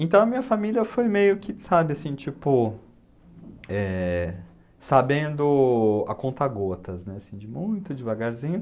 Então a minha família foi meio que, sabe, assim, tipo, eh, sabendo a conta gotas, né, assim, de muito devagarzinho.